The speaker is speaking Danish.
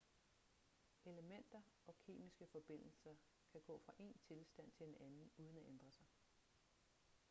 elementer og kemiske forbindelser kan gå fra en tilstand til en anden uden at ændre sig